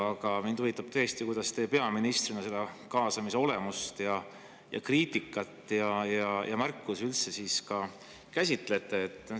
Aga mind huvitab, kuidas teie peaministrina seda kaasamise olemust ja kriitikat ja märkusi üldse käsitlete.